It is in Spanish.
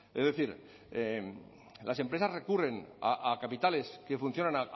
es decir las empresas recurren a capitales que funcionan